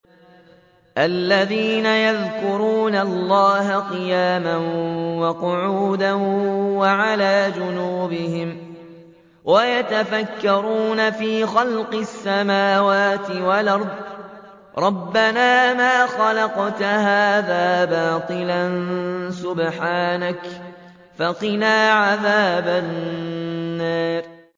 الَّذِينَ يَذْكُرُونَ اللَّهَ قِيَامًا وَقُعُودًا وَعَلَىٰ جُنُوبِهِمْ وَيَتَفَكَّرُونَ فِي خَلْقِ السَّمَاوَاتِ وَالْأَرْضِ رَبَّنَا مَا خَلَقْتَ هَٰذَا بَاطِلًا سُبْحَانَكَ فَقِنَا عَذَابَ النَّارِ